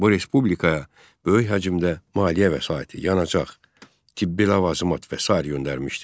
Bu respublikaya böyük həcmdə maliyyə vəsaiti, yanacaq, tibbi ləvazimat və sair göndərmişdi.